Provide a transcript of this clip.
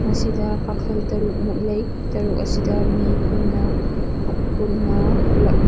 ꯃꯁꯤꯗ ꯀꯥꯈꯜ ꯇꯔꯨꯛ ꯃꯨꯛ ꯂꯩ ꯇꯔꯨꯠ ꯑꯁꯤ ꯃꯤ ꯄꯨꯟꯅ ꯑꯄꯨꯟꯅ ꯄꯨꯂꯞꯅ --